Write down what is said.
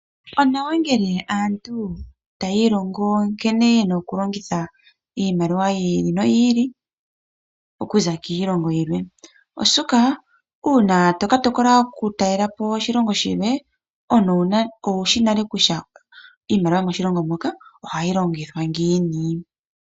Onawa ngele aantu taya ilongo nkene ye na okulongitha iimaliwa yiili no yiili okuza kiilongo yilwe oshoka uuna to ka tokola okutalelapo oshilongo shilwe omuntu owushi nale kutya iimaliwa yomoshilongo moka oha yi longithwa ngiini.